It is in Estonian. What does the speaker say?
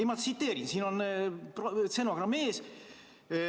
Ma tsiteerin, mul on stenogramm ees.